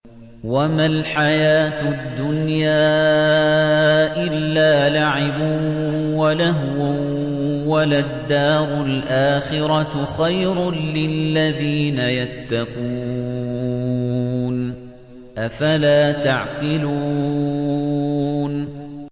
وَمَا الْحَيَاةُ الدُّنْيَا إِلَّا لَعِبٌ وَلَهْوٌ ۖ وَلَلدَّارُ الْآخِرَةُ خَيْرٌ لِّلَّذِينَ يَتَّقُونَ ۗ أَفَلَا تَعْقِلُونَ